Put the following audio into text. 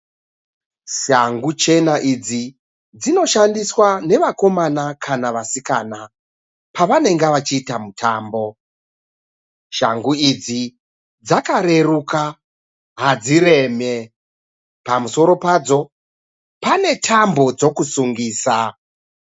Shangu chena idzi dzinoshandiswa nevakomana kana vasikana pavanenge vachiita mutambo. Shangu idzi dzakareruka hadzireme. Pamusoro padzo pane tambo dzokusungisa.